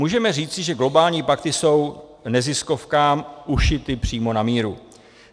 Můžeme říci, že globální pakty jsou neziskovkám ušity přímo na míru.